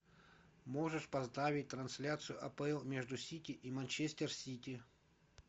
можешь поставить трансляцию апл между сити и манчестер сити